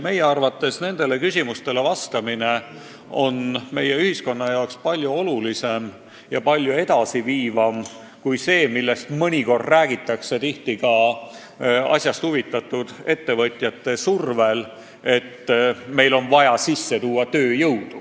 Meie arvates nendele küsimustele vastamine on meie ühiskonna jaoks palju olulisem ja palju edasiviivam kui tööjõu sissetoomine, millest mõnikord räägitakse – tihti just asjast huvitatud ettevõtjate survel.